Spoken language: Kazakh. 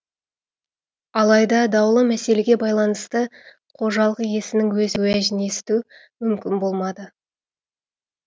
алайда даулы мәселеге байланысты қожалық иесінің өз уәжін есту мүмкін болмады